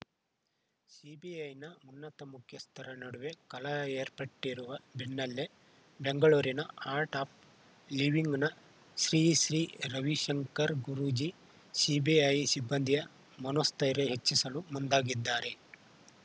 ಸಿಬಿಐನ ಉನ್ನತ ಮುಖ್ಯಸ್ಥರ ನಡುವೆ ಕಲಹ ಏರ್ಪಟ್ಟಿರುವ ಬೆನ್ನಲ್ಲೇ ಬೆಂಗಳೂರಿನ ಆರ್ಟ್‌ ಆಫ್‌ ಲಿವಿಂಗ್‌ನ ಶ್ರೀ ಶ್ರೀ ರವಿಶಂಕರ್‌ ಗುರೂಜಿ ಸಿಬಿಐ ಸಿಬ್ಬಂದಿಯ ಮನೋಸ್ಥೈರ್ಯ ಹೆಚ್ಚಿಸಲು ಮುಂದಾಗಿದ್ದಾರೆ